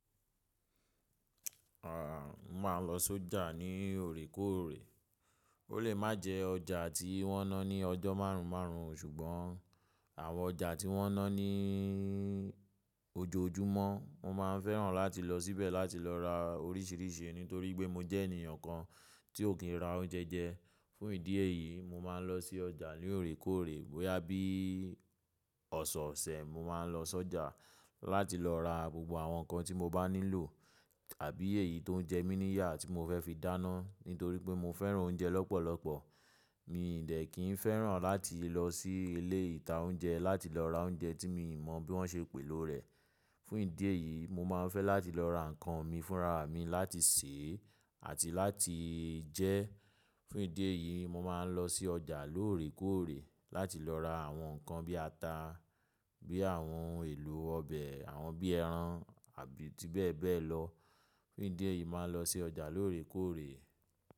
À, mo máa ń lọ sọ́jà ní òrékóòrè. Ó lè má jẹ́ ọjà tí wọ́n ná ní ọjọ́ márùn márùn o, ṣùgbọ́n àwọn ọjà tí wọ́n ná ní ojoojúmọ́ mo máa ń fẹ́ràn láti lọ síbẹ̀ láti lọ ra oríṣìíríṣìí, nítorí pé mo jẹ́ ènìyàn kan tí ò kí ń ra oúnjẹ jẹ. Fún ìdí èyí, mo máa ń lọ sí ọjà ní òrékóòrè. Bóyá bí ọ̀ṣọ̀ọ̀ṣẹ̀ mo máa ń lọ sọ́jà láti lọ ra gbogbo àwọn nǹkan tí mo bá nílò àbí èyí tó ń jẹ mí níyà tí mo fẹ́ fi dáná, nítorí pé mo fẹ́ràn oúnjẹ lọ́pọ̀lọpọ̀. Mì í dẹ̀ kí ń fẹ́ràn láti lọ sí ilé ìta oúnjẹ láti lọ ra oúnjẹ tí mo mọ̀ bí wọ́n ṣe pèlò rẹ̀. Fún ìdí èyí, mo máa ń fẹ́ láti lọ ra nǹkan mi fúnra mi láti sèe àti láti jẹ. Fún ìdí èyí, mo máa ń lọ sí ọjà lóòrèkóòrè láti lọ ra àwọn nǹkan bí ata, bí àwọn èlò ọbẹ̀, àwọn bí ẹran àbí ti bẹ́ẹ̀ bẹ́ẹ̀ lọ. Fún ìdí èyí, mo máa ń lọ sí ọjà lóòrèkóòrè.